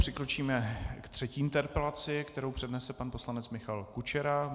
Přikročíme k třetí interpelaci, kterou přednese pan poslanec Michal Kučera.